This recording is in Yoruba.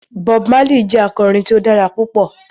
Bob Marley jẹ akọrin tí o dára pupọ